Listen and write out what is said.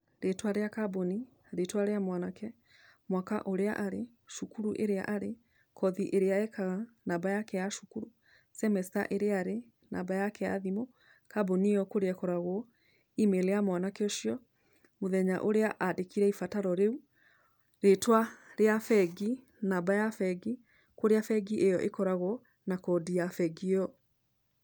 Rĩtwa rĩa kamboni, rĩtwa rĩa mwanake, mwaka ũrĩa arĩ, cukuru ĩrĩa arĩ, kothi ĩrĩa ekaga, namba yake ya cukuru, semester ĩrĩa arĩ, namba yake ya thimũ, kamboni ĩyo kũrĩa ĩkoragwo, email ya mwanake ũcio, mũthenya ũrĩa andĩkire ibataro rĩu, rĩtwa rĩa bengi, namba ya bengi, kũrĩa bengi ĩyo ĩkoragwo, na kodi ya bengi ĩyo.